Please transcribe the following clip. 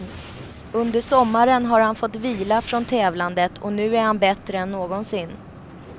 Under sommaren har han fått vila från tävlandet och nu är han bättre än någonsin.